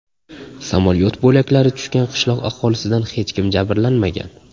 Samolyot bo‘laklari tushgan qishloq aholisidan hech kim jabrlanmagan.